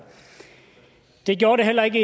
det gjorde det heller ikke